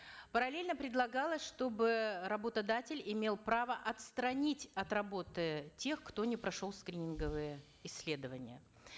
параллаельно предлагалось чтобы работодатель имел право отстранить от работы тех кто не прошел скрининговые исследования